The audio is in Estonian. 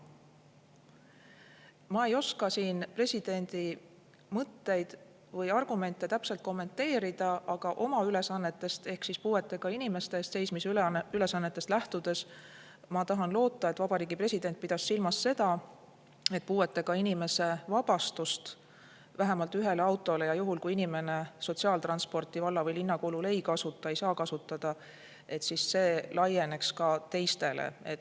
Ma ei oska siin presidendi mõtteid või argumente täpselt kommenteerida, aga oma ülesannetest ehk siis puuetega inimeste eest seismise ülesannetest lähtudes ma loodan, et Vabariigi President pidas silmas seda, et puuetega inimese vabastus vähemalt ühe auto puhul – seda juhul, kui inimene sotsiaaltransporti valla või linna kulul ei saa kasutada –, laienema ka teistele.